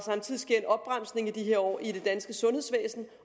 i de her år i det danske sundhedsvæsen